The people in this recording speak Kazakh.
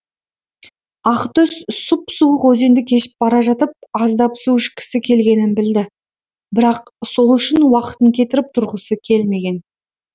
ақтөс сұп суық өзенді кешіп бара жатып аздап су ішкісі келгенін білді бірақ сол үшін уақытын кетіріп тұрғысы келмеген